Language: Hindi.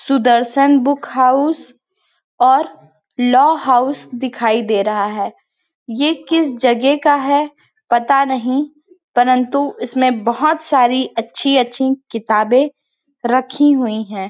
सुदर्शन बुक हाउस और लौ हाउस दिखाई दे रहा है ये किस जगेह का है पता नहीं परन्तु इसमें में बहोत सारी अच्छी-अच्छी किताबे रखीं हुई है।